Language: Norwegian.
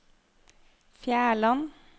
Fjærland